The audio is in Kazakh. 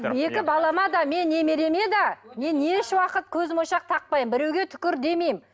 екі балама да не немереме де мен ешуақыт көзмоншақ тақпаймын біреуге түкір демеймін